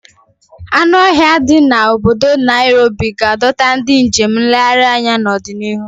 Anụ ọhịa ndi di na obodo Nairobi ga-adọta ndị njem nlegharị anya n'ọdịnihu.